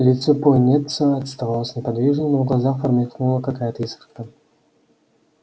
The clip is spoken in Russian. лицо пониетса оставалось неподвижным но в глазах промелькнула какая-то искорка